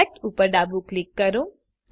select ઉપર ડાબું click કરો